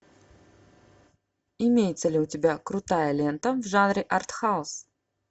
имеется ли у тебя крутая лента в жанре арт хаус